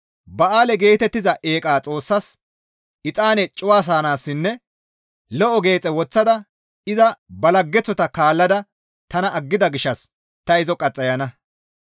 Ba7aale geetettiza eeqa xoossas exaane cuwasanaassinne lo7o geexe woththada iza ba laggeththota kaallada tana aggida gishshas ta izo qaxxayana.